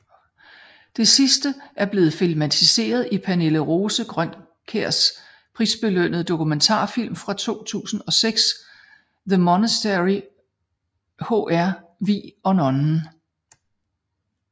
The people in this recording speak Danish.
Det sidste er blevet filmatiseret i Pernille Rose Grønkjærs prisbelønnede dokumentarfilm fra 2006 The MonasteryHr Vig og Nonnen